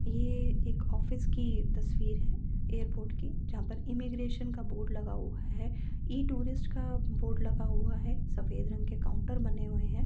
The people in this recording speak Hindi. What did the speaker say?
ये एक ऑफिस कि तस्वीर है एयरपोर्ट की जहां पर इमेगरेशन का बोर्ड लगा हुआ है। इ टुरिस्ट का बोर्ड लगा हुआ है। सफेद रंग के काउन्टर बने हुए हैं।